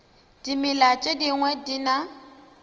dimela tše dingwe di na